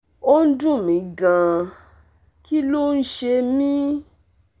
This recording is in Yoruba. ó ń dun mi gan-an! kí ló ń ṣe mí?